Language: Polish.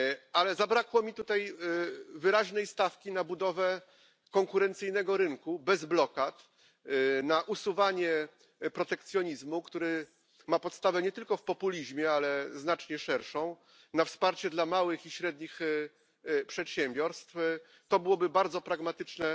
Ale zabrakło mi tutaj wyraźnej stawki na budowę konkurencyjnego rynku, bez blokad, na usuwanie protekcjonizmu, który ma podstawę nie tylko w populizmie, ale znacznie szerszą, na wsparcie dla małych i średnich przedsiębiorstw to byłoby bardzo pragmatyczne